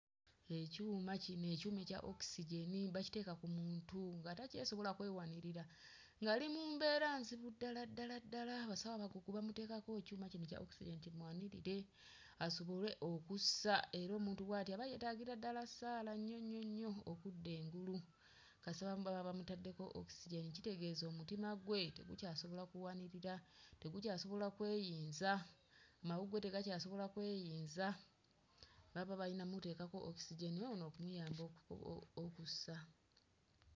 Ekyuma kino, ekyuma ekya okisejeni bakiteeka ku muntu nga takyasobola kwewanirira ng'ali mu mbeera nzibu ddala ddala ddala, abasawo abakugu bamuteekako ekyuma kino ekya okisejeni kimuwanirire asobolwe okussa era omuntu bw'ati aba yeetaagira ddala ssaala nnyo nnyo nnyo okudda engulu kasita bamuba bamutaddeko okisejeni kitegeeza omutima gwe tegukyasobola kuwanirira, tegukyasobola kweyinza mawuggwe tegakyasobola kweyinza baba bayina mmuteekako okisejeni ono okumuyamba o o okussa.